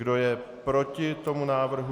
Kdo je proti tomu návrhu?